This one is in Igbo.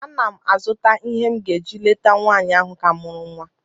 Ana m azụta ihe m ga-eji leta nwanyị ahụ ka mụrụ nwa